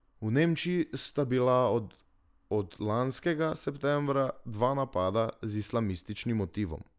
V Nemčiji sta bila od od lanskega septembra dva napada z islamističnim motivom.